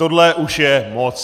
Tohle už je moc.